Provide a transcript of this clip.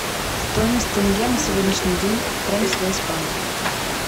стоимость тенге на сегодняшний день в промсвязьбанке